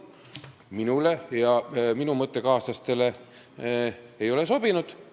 Minule ja minu mõttekaaslastele ei ole see sobinud.